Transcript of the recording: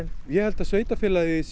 ég held að sveitarfélaginu sé